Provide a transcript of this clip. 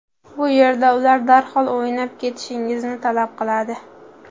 Bu yerda ular darhol o‘ynab ketishingizni talab qiladi.